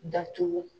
Datugu